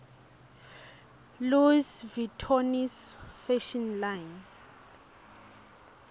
louis vittones fashion line